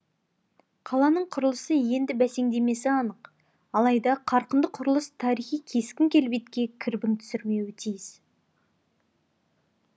қаланың құрылысы енді бәсеңдемесі анық алайда қарқынды құрылыс тарихи кескін келбетке кірбің түсірмеуі тиіс